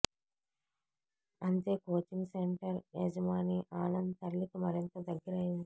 అంతే coaching centre య జమాని ఆనంద్ తల్లికి మరింత దగ్గరైంది